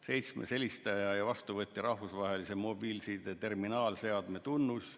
Seitsmendaks, helistaja ja vastuvõtja rahvusvahelise mobiilside terminaalseadme tunnus.